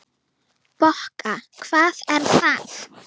Bokka, hvað er það?